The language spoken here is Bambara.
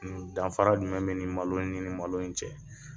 N danfara jumɛn be nin malo in ni malo in cɛ?